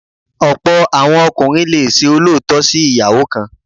Ọ̀pọ̀ àwọn ọkùnrin le ṣe olóòótọ́ sí ìyàwó kan.